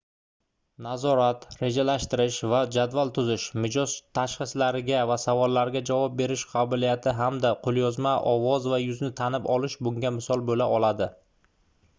nazorat rejalashtirish va jadval tuzish mijoz tashxislariga va savollariga javob berish qobiliyati hamda qoʻlyozma ovoz va yuzni tanib olish bunga misol boʻla oladi